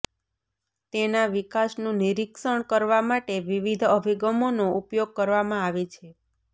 તેના વિકાસનું નિરીક્ષણ કરવા માટે વિવિધ અભિગમનો ઉપયોગ કરવામાં આવે છે